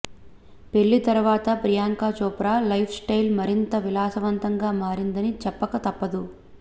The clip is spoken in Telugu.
పెళ్లి తర్వాత ప్రియాంక చోప్రా లైఫ్ స్టైల్ మరింత విలాసవంతంగా మారిందని చెప్పక తప్పదు